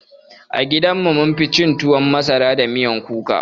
A gidan mu munfi cin tuwon masara da miyan kuɓewa